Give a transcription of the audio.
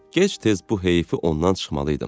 Gec-tez bu heyfi ondan çıxmalıydım.